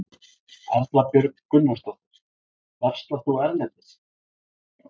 Erla Björg Gunnarsdóttir: Verslar þú erlendis?